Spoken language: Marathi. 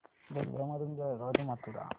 रेल्वे मधून बेळगाव ते मथुरा